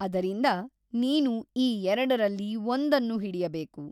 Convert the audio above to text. ಅದರಿಂದ ನೀನು ಈ ಎರಡರಲ್ಲಿ ಒಂದನ್ನು ಹಿಡಿಯಬೇಕು.